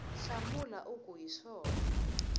hlamula u ku hi swona